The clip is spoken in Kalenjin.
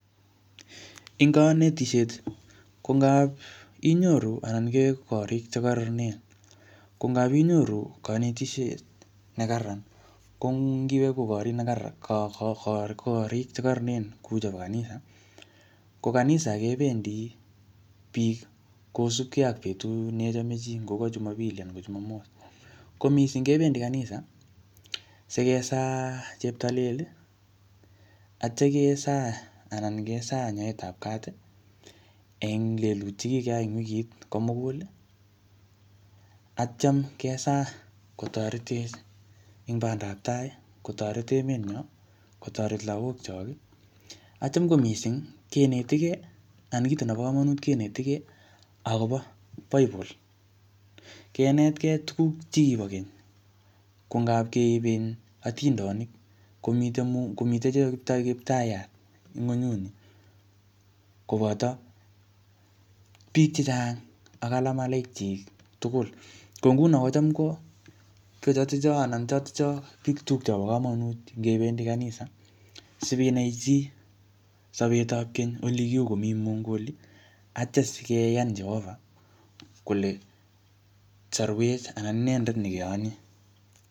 Ing kanetisiet, ko ngap inyoru anan iker korik che kararanen. Ko ngapinyoru kanetisiet ne kararan. Ko ngiwe koborun ne kararan korik che kararanen kou chebo kanisa. Ko kanisa, kebendi biik kosubkei ak betut neichome chii. Ngoka Jumapili anan Jumamos. Ko missing kebendi kanisa, sikesaa cheptalel, atya kesaa anan kesaa nyoetap kat, eng lelutik che kikeyai en wikit komugul. Atyam kesaa kotoretech eng bandaptai, kotoret emet nyoo, kotoret lagok chok, atyam ko missing kenetikei anan kito nebo komonut kenetikei akobo Bible. Kenetkei tuguk che kibo keny. Ko ngapkeip um atindonik, komite kiptayat ng'unyut nii. Koboto biik chechang ak alamalaik chik tugul. Ko nguno ko cham ko chotocho, anan chotocho biik chuk chebo komonut ngebendi kanisa, sinai chii sobetap keny ole ku komii Mungu olii. Atya sikeyan Jehovah kole sorwech anan inendet ne keyani.